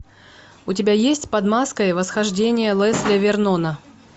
у тебя есть под маской восхождение лесли вернона